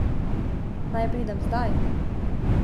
Naj pridem zdaj?